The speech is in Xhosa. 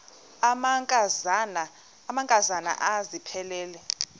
amanka zana aphilele